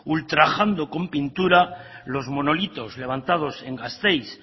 ultrajando con pintura los monolitos levantados en gasteiz